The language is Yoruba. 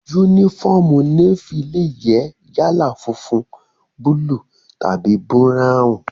Yúnífọ́ọ̀mù Nééfì lè jẹ́ yálà funfun, búúlù tàbí búráwùn